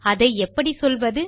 அதை எப்படிச் சொல்வது